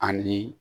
Ani